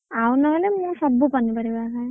ଆଉ ନ ହେଲେ ମୁଁ ସବୁ ପନିପରିବା ଖାଏଁ।